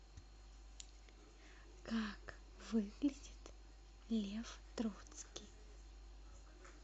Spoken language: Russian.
как выглядит лев троцкий